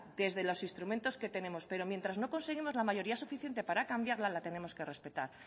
desde los instrumentos que tenemos pero mientras no conseguimos la mayoría suficiente para cambiarla la tenemos que respetar